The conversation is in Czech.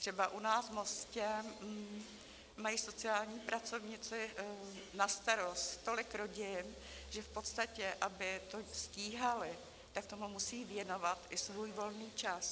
Třeba u nás v Mostě mají sociální pracovníci na starost tolik rodin, že v podstatě aby to stíhali, tak tomu musí věnovat i svůj volný čas.